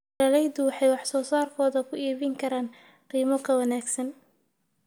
Beeraleydu waxay wax soo saarkooda ku iibin karaan qiimo ka wanaagsan.